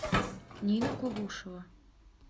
нина кулушева